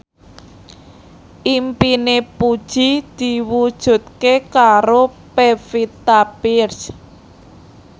impine Puji diwujudke karo Pevita Pearce